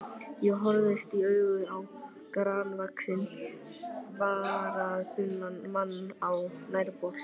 Ég horfist í augu við grannvaxinn, varaþunnan mann á nærbol.